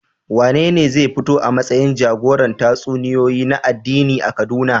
Wanene zai fito a matsayin jagoran tatsuniyoyi na addini a Kaduna?